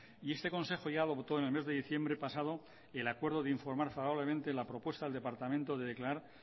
y este consejo ya adoptó en el mes de diciembre pasado el acuerdo de informar favorablemente la propuesta al departamento de declarar